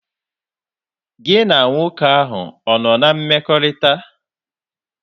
Gị na nwoke ahụ ọ nọ na mmekọrịta?